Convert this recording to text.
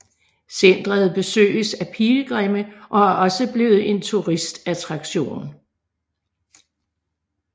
Centret besøges af pilgrimme og er også blevet en turistattraktion